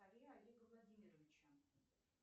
олега владимировича